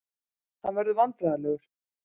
Hann verður vandræðalegur.